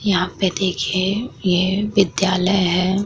यहाँ पे देखिये ये विद्यालय है।